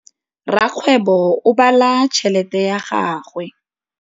Rakgwêbô o bala tšheletê ya gagwe.